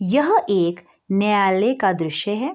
यह एक न्यायालय का दृश्य है ।